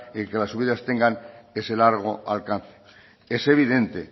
el que las subidas tengan ese largo alcance es evidente